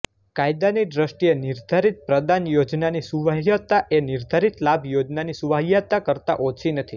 કાયાદાની દ્રષ્ટીએ નિર્ધારિત પ્રદાન યોજનાની સુવાહ્યતા એ નિર્ધારિત લાભ યોજનાની સુવાહ્યતા કરતા ઓછી નથી